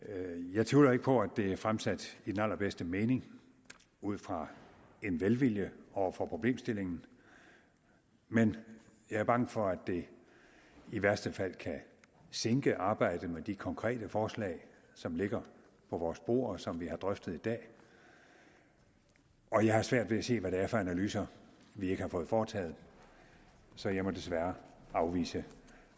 jeg tvivler ikke på at det er fremsat i den allerbedste mening ud fra en velvilje over for problemstillingen men jeg er bange for at det i værste fald kan sinke arbejdet med de konkrete forslag som ligger på vores bord og som vi har drøftet i dag og jeg har svært ved at se hvad det er for analyser vi ikke har fået foretaget så jeg må desværre afvise